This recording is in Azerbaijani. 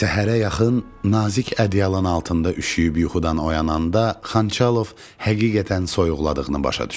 Səhərə yaxın nazik ədyalın altında üşüyüb yuxudan oyananda Xançalov həqiqətən soyuqladığını başa düşdü.